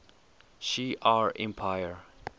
shi ar empire